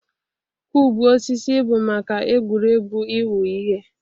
Kụubụ osisi bụ maka egwuregwu ịwụ ihe.